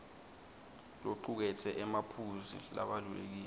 locuketse emaphuzu labalulekile